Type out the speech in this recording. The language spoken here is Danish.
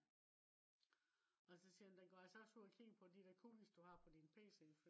også siger den den går altså også ud og kigger på de der cookies du har på din pc